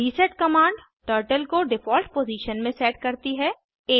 reset command turtle को default position में set करती है